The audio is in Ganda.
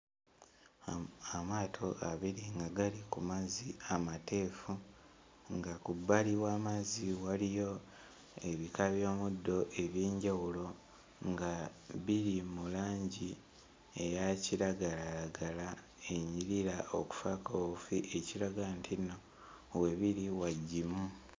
Am Amaato abiri nga gali ku mazzi amateefu nga ku bbali w'amazzi waliyo ebika by'omuddo eby'enjawulo nga biri mu langi eya kiragalalagala enyirira okufaako obufi ekiraga nti nno webiri wagimu.